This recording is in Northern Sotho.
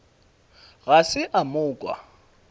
ga se a mo kwa